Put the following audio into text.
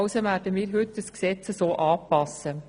Also werden wir heute das Gesetz entsprechend anpassen.